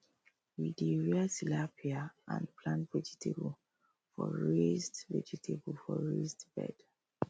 we dey rear tilapia and plant vegetable for raised vegetable for raised bed